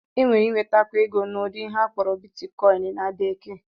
Enwere ịnwetakwu ego n'ụdị ihe akpọrọ Bitkọịn na Bekee